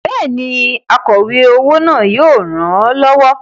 Bẹ́ẹ̀ni, akọ̀we owó náà yóò ràn ọ́ lọ́wọ́.